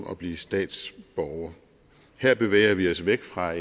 at blive statsborger her bevæger vi os væk fra